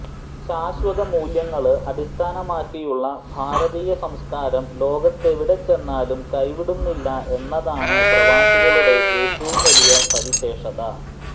ശാശ്വത മൂല്യങ്ങള് അടിസ്ഥാനമാക്കിയുള്ള ഭാരതീയ സംസ്കാരം ലോകത്തെവിടെ ചെന്നാലും കൈവിടുന്നില്ല എന്നതാണ് പ്രവാസികളുടെ ഏറ്റവും വലിയ സവിശേഷത